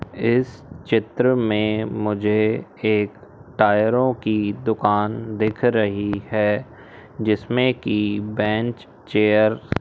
इस चित्र में मुझे एक टायरों की दुकान दिख रही है। जिसमें की बेंच चेयर --